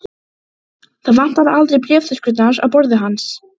Sums staðar skína hvítar strendur milli blárra fjallanna.